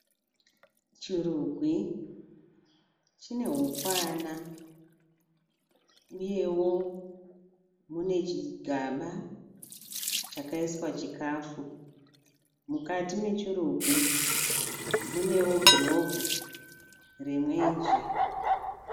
Chirugwi chine hukwana uyewo mune chigaba chakaiswa chikafu. Mukati mechirugwi munewo gurobhu remwenje